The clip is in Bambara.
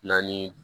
Naani